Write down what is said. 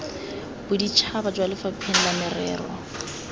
boditšhaba kwa lefapheng la merero